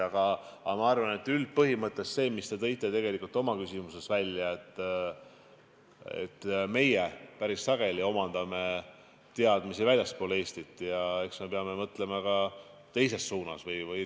Aga minu arvates üldpõhimõte on see, mille te tõite tegelikult oma küsimuses välja: meie inimesed omandavad päris sageli teadmisi väljaspool Eestit ja eks me peame mõtlema ka teises suunas.